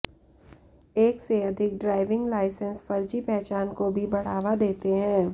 एक से अधिक ड्राइविंग लाइसेंस फर्जी पहचान को भी बढ़ावा देते हैं